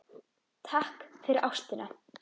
Takk fyrir ástina.